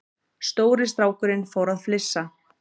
Stóri strákurinn fór að flissa.